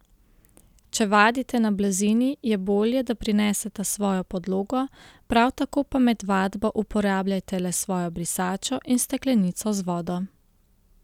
Če vadite na blazini, je bolje, da prinesete svojo podlogo, prav tako pa med vadbo uporabljajte le svojo brisačo in steklenico z vodo.